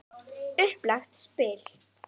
Upplagt spil.